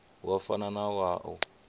wa fana na wa u